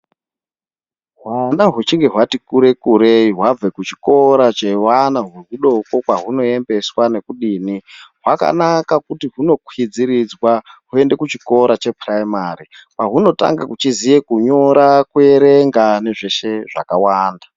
Hwana hwuchinge hwati kure kurei hwabve kuchikora chevana kwehudoko kwahunoembeswa nekudini, hwakanaka kuti hwunokwidziridzwa hwoende kuchikora chePrimary kwahwunotanga kuchiziye kunyora, kuerenga nezveshe zvakawanda.